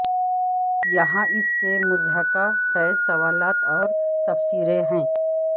یہاں اس کے مضحکہ خیز سوالات اور تبصرے ہیں